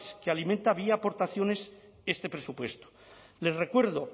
que alimenta vía aportaciones este presupuesto les recuerdo